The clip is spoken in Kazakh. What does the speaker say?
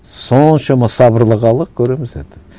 соншама сабырлы халық көреміз енді